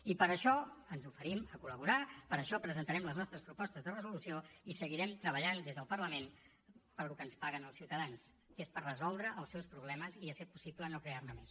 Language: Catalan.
i per això ens oferim a col·laborar per això presentarem les nostres propostes de resolució i seguirem treballant des del parlament pel que ens paguen els ciutadans que és per resoldre els seus problemes i si és possible no crear ne més